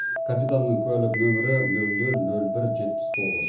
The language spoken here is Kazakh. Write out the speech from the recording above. капитанның куәлік нөмірі ноль ноль ноль бір жетпіс тоғыз